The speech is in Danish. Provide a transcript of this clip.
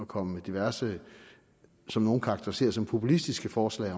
komme med diverse som nogle karakteriserer som populistiske forslag